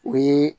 O ye